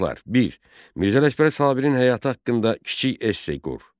Bir. Mirzə Ələkbər Sabirin həyatı haqqında kiçik esse qur.